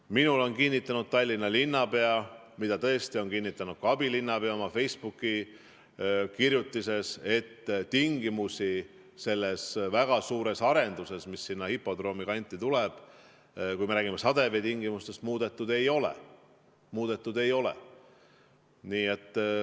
Minule on kinnitanud Tallinna linnapea ja seda on tõesti kinnitanud ka abilinnapea oma Facebooki kirjutises, et selle väga suure arenduse, mis sinna hipodroomi kanti tuleb, tingimusi muudetud ei ole.